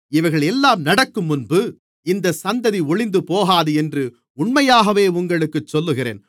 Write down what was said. இவைகளெல்லாம் நடக்கும்முன்பு இந்த சந்ததி ஒழிந்துபோகாது என்று உண்மையாகவே உங்களுக்குச் சொல்லுகிறேன்